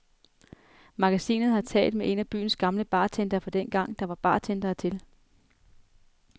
Magasinet har talt med en af byens gamle bartendere fra dengang, der var bartendere til.